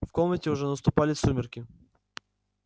в комнате уже наступали сумерки